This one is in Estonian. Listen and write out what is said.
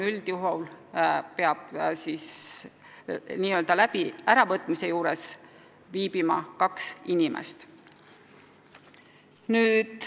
Üldjuhul aga peab äravõtmise juures viibima kaks inimest.